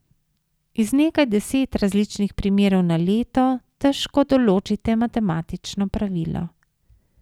Iz nekaj deset različnih primerov na leto težko določite matematično pravilo.